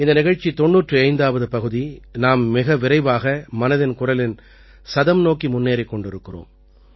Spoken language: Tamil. இந்த நிகழ்ச்சி 95ஆவது பகுதி நாம் மிக விரைவாக மனதின் குரலின் சதம் நோக்கி முன்னேறிக் கொண்டிருக்கிறோம்